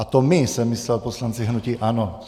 A to my jsem myslel poslance hnutí ANO.